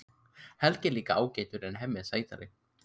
Helgi er líka ágætur en Hemmi er sætari.